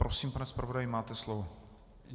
Prosím, pane zpravodaji, máte slovo.